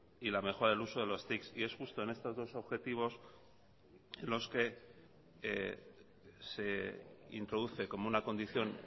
y la mejora del uso de los tics y es justo en estos dos objetivos en los que se introduce como una condición